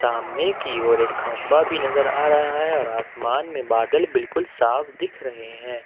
सामने की और एक खंभा भी नजर आ रहा है और आसमान में बादल बिलकुल साफ दिख रहे हैं।